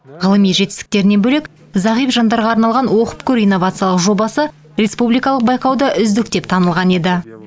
ғылыми жетістіктерінен бөлек зағип жандарға арналған оқып көр инновациялық жобасы республикалық байқауда үздік деп танылған еді